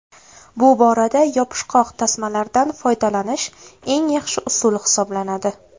Bu borada yopishqoq tasmalardan foydalanish eng yaxshi usul hisoblanadi.